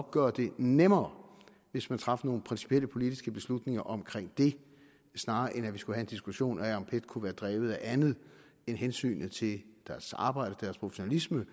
gøre det nemmere hvis man traf nogle principielle politiske beslutninger omkring det snarere end at vi skal have en diskussion af om pet kunne være drevet af andet end hensynet til deres arbejde og deres professionalisme